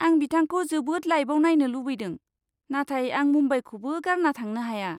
आं बिथांखौ जोबोद लाइभाव नायनो लुगैदों, नाथाय आं मुम्बाइखौबो गारना थांनो हाया।